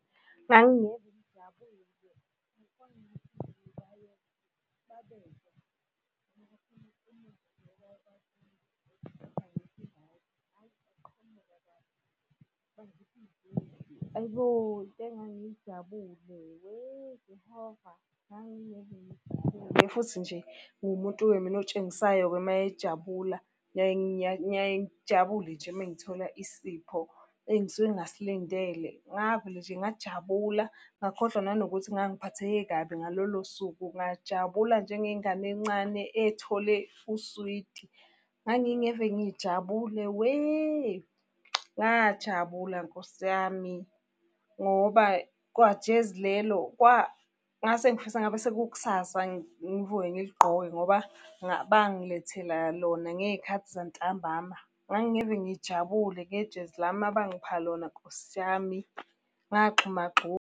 Hhayi bo, Into engangijabule . Futhi nje ngumuntu-ke mina otshengisayo-ke mayejabula. Ngiyaye ngijabule nje uma ngithola isipho engisuke ngingasilindele. Ngavele nje ngajabula, ngakhohlwa nanokuthi ngangiphatheke kabi ngalolo suku ngajabula njengengane encane ethole uswidi. Ngangingeve ngijabule we, ngajabula Nkosi yami, ngoba kwajezi lelo kwangase ngifisa ngabe sekukusasa ngivuke ngiligqoke, ngoba bangilethela lona ngey'khathi zantambama. Ngangingeve ngijabule ngejezi lami abangipha lona Nkosi yami, ngagxuma gxuma.